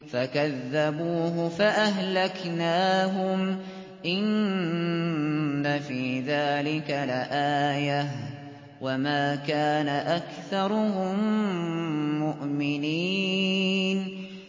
فَكَذَّبُوهُ فَأَهْلَكْنَاهُمْ ۗ إِنَّ فِي ذَٰلِكَ لَآيَةً ۖ وَمَا كَانَ أَكْثَرُهُم مُّؤْمِنِينَ